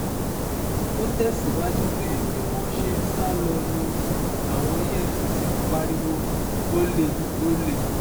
ó tẹ̀síwájú pé bí wọ́n ṣe ń sá lọ ni àwọn efcc ń pariwo ọ̀lẹ ọ̀lẹ